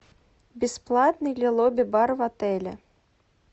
бесплатный ли лобби бар в отеле